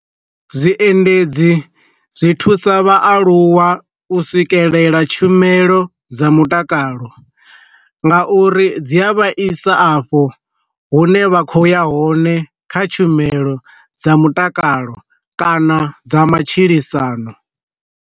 Zwiendedzi zwi thusa vha aluwa u swikelela tshumelo dza mutakalo, nga uri dzi a vhaisa afho hune vha khoya hone kha tshumelo dza mutakalo kana dza matshilisano.